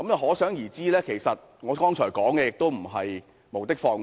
可想而知，其實我剛才所說的並非無的放矢。